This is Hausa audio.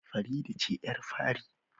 Farida ce yar fari